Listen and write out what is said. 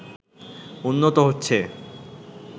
উন্নত হচ্ছে